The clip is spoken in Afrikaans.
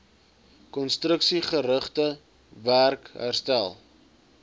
konstruksiegerigte werk herstel